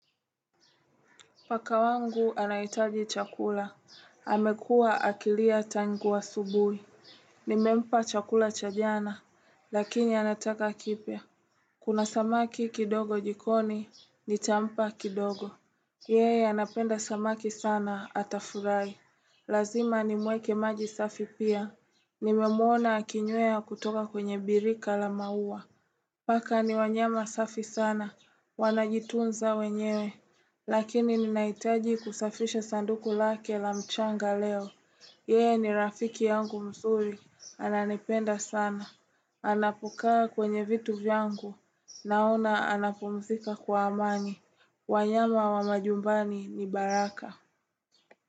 Paka wangu anaitaji chakula. Amekua akilia tangu asubui. Nimempa chakula cha jana, lakini anataka kipya. Kuna samaki kidogo jikoni, nitampa kidogo. Yeye, anapenda samaki sana atafurai. Lazima nimweke maji safi pia. Nimemwona akinywea kutoka kwenye birika la maua. Paka ni wanyama safi sana, wanajitunza wenyewe. Lakini ninaitaji kusafisha sanduku lake la mchanga leo Yeye ni rafiki yangu mzuri, ananipenda sana Anapokaa kwenye vitu vyangu, naona anapumzika kwa amani wanyama wa majumbani ni baraka.